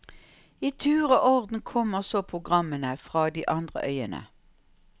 I tur og orden kommer så programmene fra de andre øyene.